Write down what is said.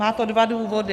Má to dva důvody.